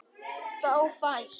Þá fæst